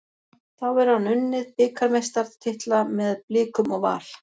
Þá hefur hann unnið bikarmeistaratitla með Blikum og Val.